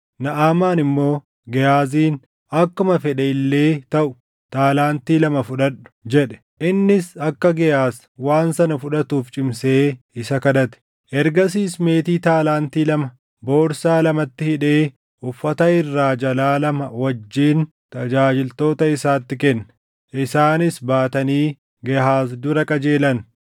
Naʼamaan immoo Gehaaziin, “Akkuma fedhe illee taʼu taalaantii lama fudhadhu” jedhe. Innis akka Gehaaz waan sana fudhatuuf cimsee isa kadhate; ergasiis meetii taalaantii lama borsaa lamatti hidhee uffata irraa jalaa lama wajjin tajaajiltoota isaatti kenne. Isaanis baatanii Gehaaz dura qajeelan.